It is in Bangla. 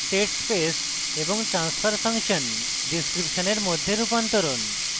state space এবং transfer function ডিসক্রিপশনের মধ্যে রূপান্তরণ